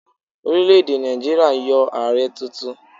Orílè èdè Nàìjíríà yan Ààrẹ tuntun.